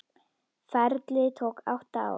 Ferlið tók átta ár.